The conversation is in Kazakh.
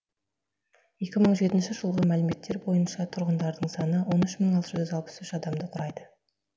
екі мың жетінші жылғы мәліметтер бойынша тұрғындарының саны он үш мың алты жүз алпыс үш адамды құрайды